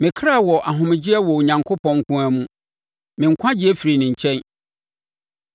Me ɔkra wɔ ahomegyeɛ wɔ Onyankopɔn nko ara mu; me nkwagyeɛ firi ne nkyɛn.